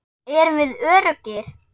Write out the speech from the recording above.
Erum við öruggir?